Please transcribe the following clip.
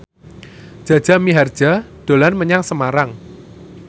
Jaja Mihardja dolan menyang Semarang